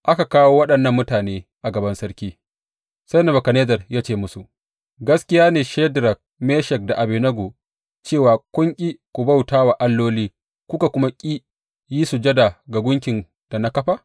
Aka kawo waɗannan mutane a gaban sarki, sai Nebukadnezzar ya ce musu, Gaskiya ne Shadrak, Meshak da Abednego, cewa kun ƙi ku bauta wa alloli kuka kuma ƙi yi sujada ga gunkin da na kafa?